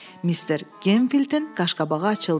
Mister Gemfildin qaşqabağı açıldı.